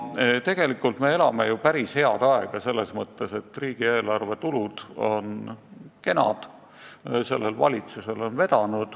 Tegelikult me elame ju päris häid aegu: riigieelarve tulud on kenad, sellel valitsusel on vedanud.